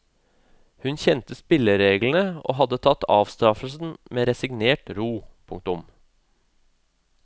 Hun kjente spillereglene og hadde tatt avstraffelsen med resignert ro. punktum